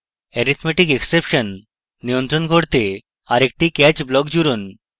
arithmeticexception নিয়ন্ত্রণ করতে আরেকটি catch block জুড়ুন